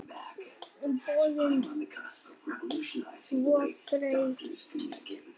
Ég er orðin svo þreytt.